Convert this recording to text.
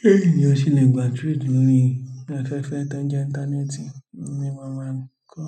Bi ènìyàn ṣe le gbà 3D lórí afẹ́fẹ́ tó ń jẹ́ íńtánẹ́ẹ̀tì ni màá máa kọ́.